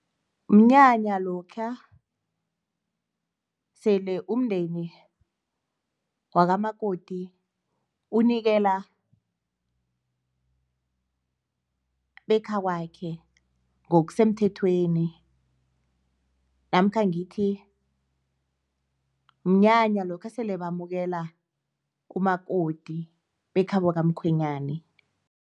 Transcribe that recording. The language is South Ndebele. Mnyanya lokhuya sele umndeni wakamakoti unikela bekhakwakhe ngokusemthethweni namkha ngithi mnyanya lokha esele bamukela umakoti bekho kamkhwenyani.